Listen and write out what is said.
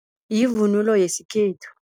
Yivunulo yesikhethu.